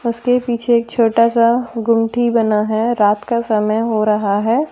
इसके पीछे एक छोटा सा गूंगटी बना है रात का समय हो रहा है ।